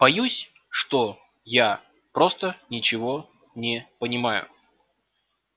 боюсь что я просто ничего не понимаю